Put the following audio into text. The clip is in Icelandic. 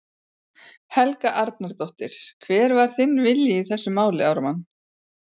Helga Arnardóttir: Hver var þinn vilji í þessu máli, Ármann?